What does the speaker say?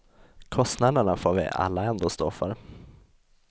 Kostnaderna får vi alla ändå stå för.